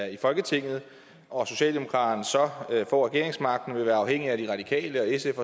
i folketinget og at socialdemokraterne så får regeringsmagten og vil være afhængige af de radikale sf